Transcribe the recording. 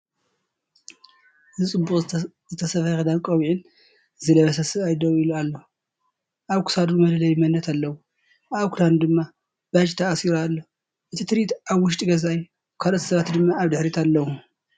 እዚ ጽቡቕ ዝተሰፍየ ክዳንን ቆቢዕን ዝለበሰ ሰብኣይ ደው ኢሉ ኣሎ። ኣብ ክሳዱ መለለዪ መንነት ኣለዎ፡ ኣብ ክዳኑ ድማ ባጅ ተኣሲሩ ኣሎ። እቲ ትርኢት ኣብ ውሽጢ ገዛ'ዩ፡ ካልኦት ሰባት ድማ ኣብ ድሕሪት ኣለዉ።